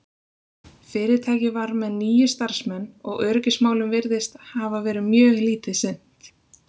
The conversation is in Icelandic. fyrirtækið var með níu starfsmenn og öryggismálum virðist hafa verið mjög lítið sinnt